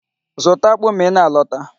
Zụta akpụ ma ị na-alọta.